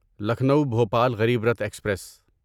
Lucknow Bhopal Garib Rath express